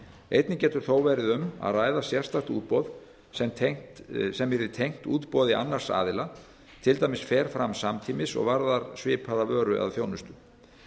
einnig getur þó verið um að ræða sérstakt útboð sem að tengt útboði annars aðila til dæmis fer fram samtímis og varðar svipaða vöru eða þjónustu